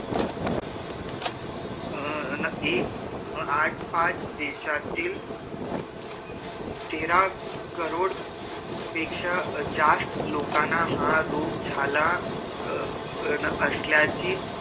अ न एक आठ पाच देशत तेरा करोड़ पेक्षा जास्त लोकना हा रोग झाल्या अ असल्याची